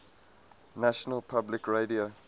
national public radio